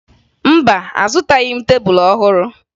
Mba, azụtaghị m tebulu ọhụrụ